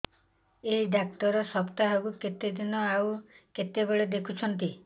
ଏଇ ଡ଼ାକ୍ତର ସପ୍ତାହକୁ କେତେଦିନ ଆଉ କେତେବେଳେ ଦେଖୁଛନ୍ତି